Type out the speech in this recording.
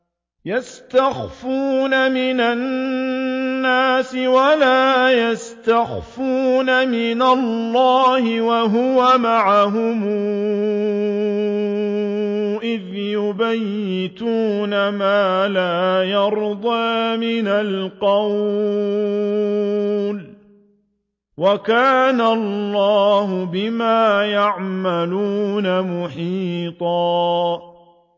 يَسْتَخْفُونَ مِنَ النَّاسِ وَلَا يَسْتَخْفُونَ مِنَ اللَّهِ وَهُوَ مَعَهُمْ إِذْ يُبَيِّتُونَ مَا لَا يَرْضَىٰ مِنَ الْقَوْلِ ۚ وَكَانَ اللَّهُ بِمَا يَعْمَلُونَ مُحِيطًا